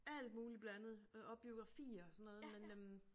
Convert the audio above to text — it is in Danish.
Alt muligt blandet øh og biografier og sådan noget men øh